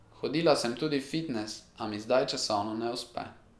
Hodila sem tudi v fitnes, a mi zdaj časovno ne uspe.